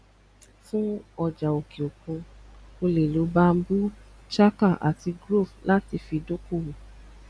fún ọjà òkè òkun o lè lo bamboo chaka ati trove láti fi dókòwó